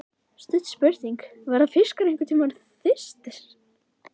Stutt spurning, verða fiskar einhverntímann þyrstir!??